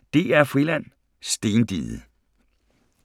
05:35: DR-Friland: Stendiget